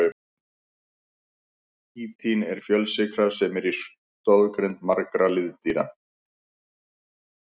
Kítín er fjölsykra sem er í stoðgrind margra liðdýra.